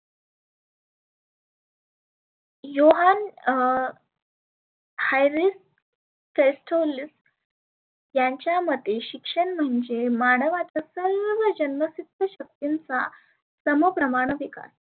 Yohan अं haries pretolis यांच्या मते शिक्षण म्हणजे मानवाच सर्व जन्मसिद्ध शक्तींचा सम प्रमाण विकास.